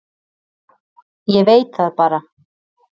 Ég veit það bara.